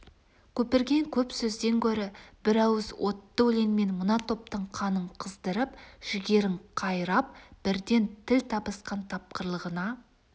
көпірген көп сөзден гөрі бір ауыз отты өлеңмен мына топтың қанын қыздырып жігерін қайрап бірден тіл табысқан тапқырлығына